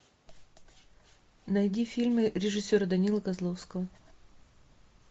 найди фильмы режиссера данилы козловского